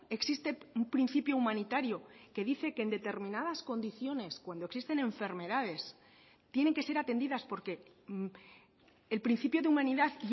existe un principio humanitario que dice que en determinadas condiciones cuando existen enfermedades tienen que ser atendidas porque el principio de humanidad